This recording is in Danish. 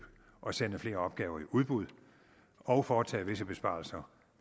og sende flere opgaver i udbud og foretage visse besparelser